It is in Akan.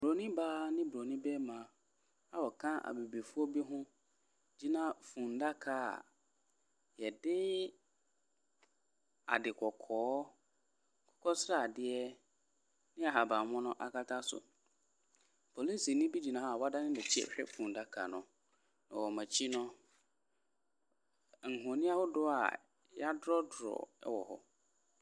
Bronin baa ne bronin barima a wɔka abibifoɔ bi ho gyina afunu adaka a yɛde ade kɔkɔɔ, akokɔsradeɛ, ne ahabanmono akata so, polisini bi gyina ha wadane n’akyi ɛrehwɛ fundaka no. na wɔn akyi no, ahoni ahodoɔ yɛadrɔdrɔ wɔ hɔ.